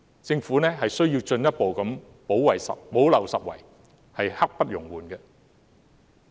政府必須進一步補漏拾遺，刻不容緩。